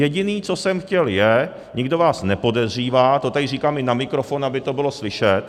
Jediné, co jsem chtěl, je, nikdo vás nepodezřívá, to tady říkám i na mikrofon, aby to bylo slyšet.